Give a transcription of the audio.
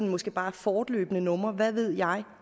måske bare er fortløbende numre hvad ved jeg